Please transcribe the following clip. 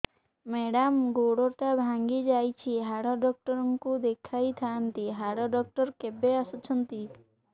madam ଗୋଡ ଟା ଭାଙ୍ଗି ଯାଇଛି ହାଡ ଡକ୍ଟର ଙ୍କୁ ଦେଖାଇ ଥାଆନ୍ତି ହାଡ ଡକ୍ଟର କେବେ ଆସୁଛନ୍ତି